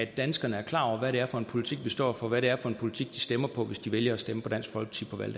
danskerne er klar over hvad det er for en politik vi står for og hvad det er for en politik de stemmer på hvis de vælger at stemme på dansk folkeparti